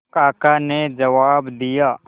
काका ने जवाब दिया